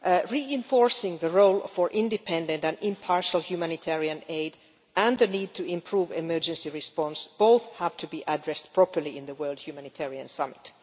Reinforcing the role of independent and impartial humanitarian aid and the need to improve emergency response both have to be addressed properly at the World Humanitarian Summit.